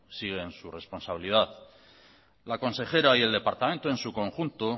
sigue en su responsabilidad la consejera y el departamento en su conjunto